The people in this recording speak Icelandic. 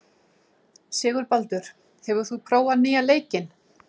Sigurbaldur, hefur þú prófað nýja leikinn?